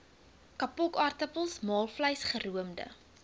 kapokaartappels maalvleis geroomde